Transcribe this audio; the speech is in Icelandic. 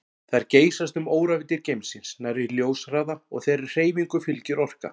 Þær geysast um óravíddir geimsins nærri ljóshraða og þeirri hreyfingu fylgir orka.